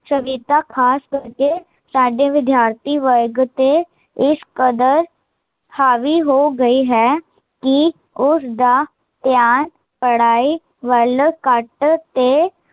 ਸਹਿਰਤਾ, ਖਾਸ ਕਰਕੇ ਸਾਡੇ ਵਿਦਿਆਰਥੀ ਵਰਗ ਤੇ, ਇਸ ਕਦਰ ਹਾਵੀ ਹੋ ਗਈ ਹੈ, ਕੀ ਉਸਦਾ ਧਿਆਨ ਪੜਾਈ ਵੱਲ ਘੱਟ ਤੇ